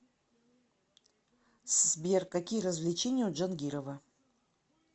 сбер какие развлечения у джангирова